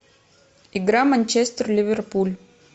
игра манчестер ливерпуль